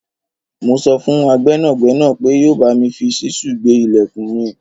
Mo sọ fún gbẹ́nàgbénà pé yóò bámi fi ṣísù gbé ìlẹ̀kùn mi